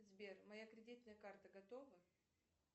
сбер моя кредитная карта готова